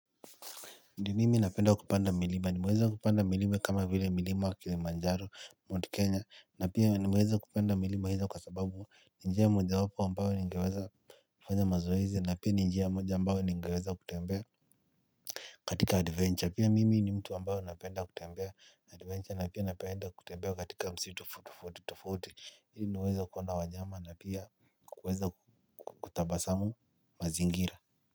Ni mimi napenda kupanda milima nimeweza kupanda milima kama vile milima wa Kilimanjaro, Mount Kenya na pia nimeweza kupanda milima hizo kwa sababu ni njia mojawapo ambayo ningeweza kufanya mazoezi na pia ni njia moja ambayo ningeweza kutembea katika adventure pia mimi ni mtu ambayo napenda kutembea na adventure na pia napenda kutembea katika msitu tofauti tofauti ili niweze kuona wanyama na pia kuweza kutabasamu mazingira.